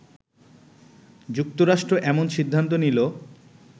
যুক্তরাষ্ট্র এমন সিদ্ধান্ত নিলো